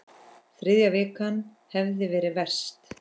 Þriðja vikan hefði verið verst.